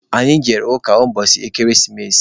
Anyị jere ụka ụbọchị ekeresimesi.